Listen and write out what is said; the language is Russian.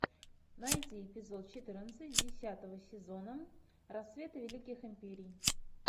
найти эпизод четырнадцать десятого сезона рассветы великих империй